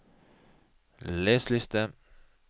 les liste